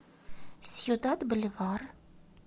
сьюдад боливар